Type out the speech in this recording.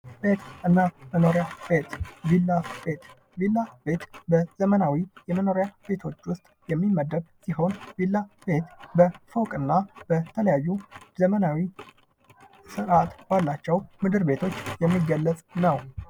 ቤትና መኖሪያ ቤት፤ ቢላ ቤት፦ ቢላ ቤት በዘመናዊ የመኖሪያ ቤቶች ውስጥ የሚመደብ ሲሆን ቢላ ቤት በፎቅና በተለያዩ ዘመናዊ ስርአት ባላቸው ምድር በቶች የሚገለጽ ነው።